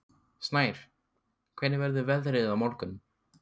Snær, hvernig verður veðrið á morgun?